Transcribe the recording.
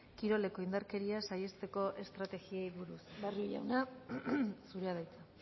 kiroleko indarkeria saihesteko estrategiei buruz barrio jauna zurea da hitza